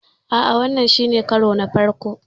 A'a, wannan shi ne karona na farko.